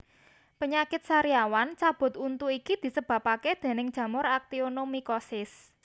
Penyakit sariawan cabut untu iki disebabake déning jamur actionomycosis